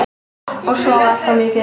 Og sofa allt of mikið.